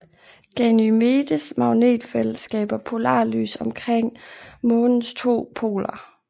Ganymedes magnetfelt skaber polarlys omkring månens to poler